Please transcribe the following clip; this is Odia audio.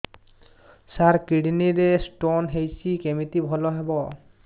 ସାର କିଡ଼ନୀ ରେ ସ୍ଟୋନ୍ ହେଇଛି କମିତି ଭଲ ହେବ